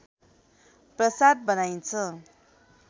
प्रसाद बनाइन्छ